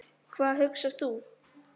Hvað hugsar þú?